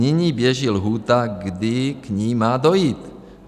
Nyní běží lhůta, kdy k ní má dojít.